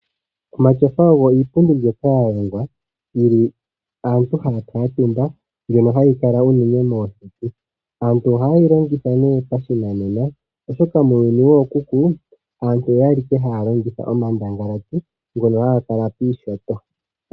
Omatyofa ogo iipundi mbyoka ya longwa hoka aantu haya kuutumba. Ohayi kala unene moseti. Aantu ohaye yi longitha nduno pashinanena, oshoka muuyuni wookuku aantu oya li owala haya longitha omandangalati ngono haga kala piinyanga.